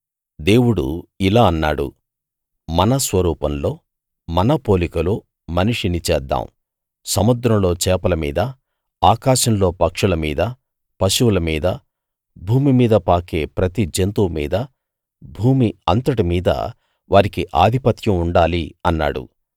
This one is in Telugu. దేవుడు ఇలా అన్నాడు మన స్వరూపంలో మన పోలికలో మనిషిని చేద్దాం సముద్రంలో చేపల మీదా ఆకాశంలో పక్షుల మీదా పశువుల మీదా భూమి మీద పాకే ప్రతి జంతువు మీదా భూమి అంతటి మీదా వారికి ఆధిపత్యం ఉండాలి అన్నాడు